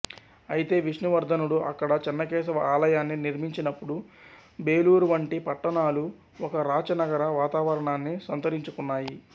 అయితే విష్ణువర్ధనుడు అక్కడ చెన్నకేశవ ఆలయాన్ని నిర్మించినప్పుడు బేలూరు వంటి పట్టణాలు ఒక రాచ నగర వాతావరణాన్ని సంతరించుకున్నాయి